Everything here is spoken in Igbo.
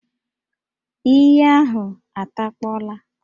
Íyí ahụ atakpọla